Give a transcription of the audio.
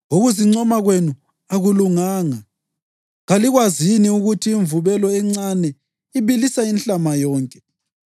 Ukuzincoma kwenu akulunganga. Kalikwazi yini ukuthi imvubelo encane ibilisa inhlama yonke?